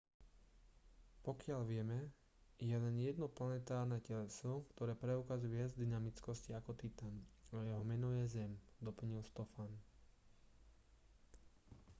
pokiaľ vieme je len jedno planetárne teleso ktoré preukazuje viac dynamickosti ako titan a jeho meno je zem doplnil stofan